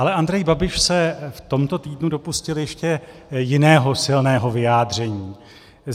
Ale Andrej Babiš se v tomto týdnu dopustil ještě jiného silného vyjádření.